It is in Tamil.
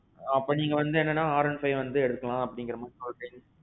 அப்போ, நீங்க என்னன்னா R one five எடுக்கலாமுங்கற மாறி நீங்க சொல்றிங்க.